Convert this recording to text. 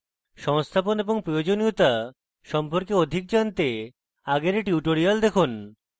সংস্থাপন এবং প্রয়োজনীয়তা সম্পর্কে অধিক জানতে আগের tutorial দেখুন